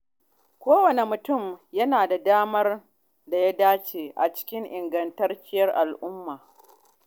Kowane mutum yana da damar da ya dace a cikin ingantacciyar al’umma.